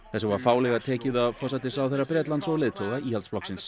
þessu var fálega tekið af forsætisráðherra Bretlands og leiðtoga Íhaldsflokksins